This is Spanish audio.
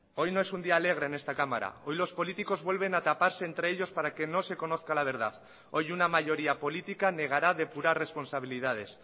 hoy no es un día alegre en esta cámara hoy los políticos vuelven a taparse entre ellos para que no se conozca la verdad hoy una mayoría política negará depurar responsabilidades